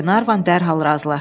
Qlenarvan dərhal razılaşdı.